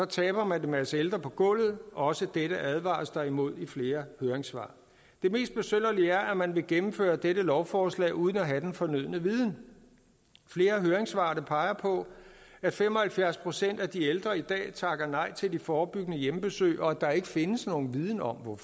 taber man en masse ældre på gulvet også dette advares der imod i flere høringssvar det mest besynderlige er at man vil gennemføre dette lovforslag uden at have den fornødne viden flere af høringssvarene peger på at fem og halvfjerds procent af de ældre i dag takker nej til de forebyggende hjemmebesøg og at der ikke findes nogen viden om